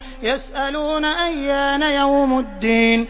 يَسْأَلُونَ أَيَّانَ يَوْمُ الدِّينِ